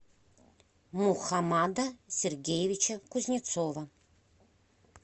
мухаммада сергеевича кузнецова